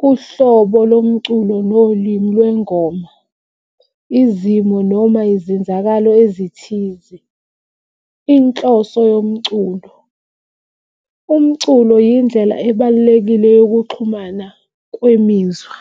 kuhlobo lomculo nolimi lwengoma, izimo noma ezenzakalayo ezithize. Inhloso yomculo, umculo yindlela ebalulekile yokuxhumana kwemizwa.